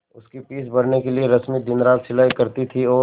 उसकी फीस भरने के लिए रश्मि दिनरात सिलाई करती थी और